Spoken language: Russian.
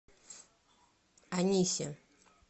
анисе